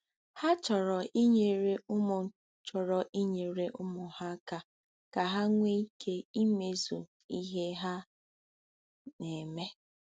Ha chọrọ inyere ụmụ chọrọ inyere ụmụ ha aka ka ha nwee ike imezu ihe ha na-eme.